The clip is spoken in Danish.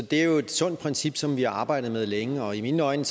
det er et sundt princip som vi har arbejdet med længe og i mine øjne